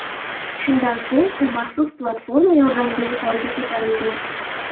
Shundan so‘ng, u maxsus platforma yordamida yuqoriga ko‘tarilgan.